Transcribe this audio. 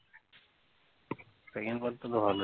তো ভালো